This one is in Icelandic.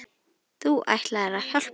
Þú ætlaðir að hjálpa mér.